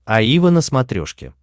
аива на смотрешке